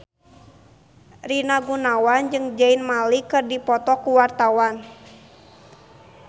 Rina Gunawan jeung Zayn Malik keur dipoto ku wartawan